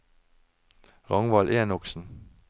Ragnvald Enoksen